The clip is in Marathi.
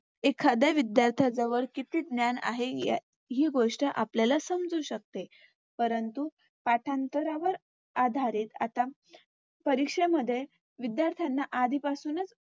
एखाद्या विध्यार्थ्याजवळ किती ज्ञान आहे या हि गोष्ट आपल्याला समजू शकते. परंतु पाठांतरावर आधारित आता परीक्षेमध्ये विध्यार्थ्यांना आधीपासूनच